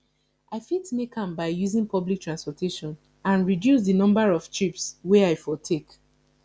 i fit make am by using public transportation and reduce di number of trips wey i for take